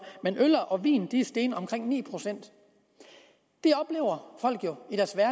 men øl og vin er steget omkring ni procent det oplever folk jo